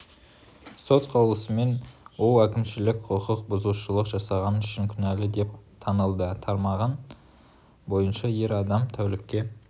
сот қаулысымен ол әкімшілік құқық бұзушылық жасағаны үшін кінәлі деп танылды тармағы бойынша ер адам тәулікке